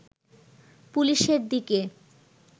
পুলিশের দিকে